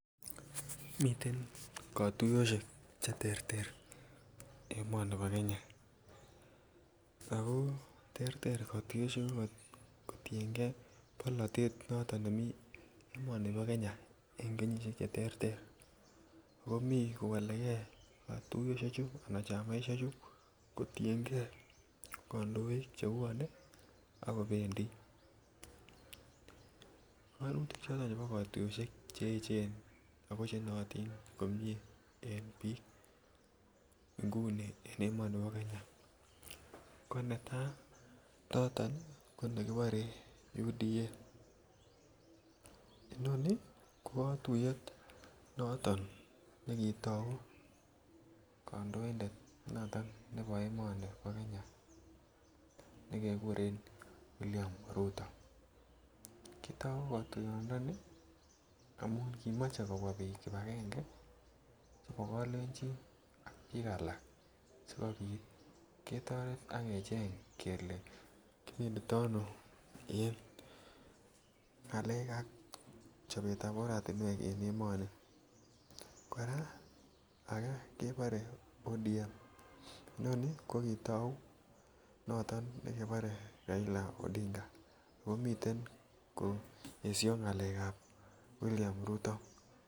Miten kotuyoshek che terter en emoni bo Kenya ako terter kotuyoshek choton kotiengee polotet noton nemii emoni bo Kenya en kenyisiek che terter ako mii kowolegee kotuyoshechu ana chamaishe chu kotiengee kondoik chebwone ak kobendii. Kainutik choton chebo kotuyoshek Cheechen ako che nootin komie en biik ngunii en emoni bo Kenya ko netaa noton ko nekibore UDA, inoni ko kotuyet noton ne kitou kondoindet noton nebo emoni bo Kenya nekeguren William ruto kitou kotuyondoni amun kimoche kobwaa biik kibagenge che kolenjin ak biik alak sikopit ketoret ak kecheng kelee kibendi Tomo en ngalek ak chobetab oret en emoni, koraa agee kebore ODM inoni ko kitou noton nekebore Raila odinga oo miten kesho ngalekab William ruto.